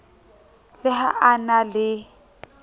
le ha a na le